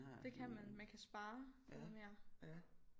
Det kan man man kan spare noget mere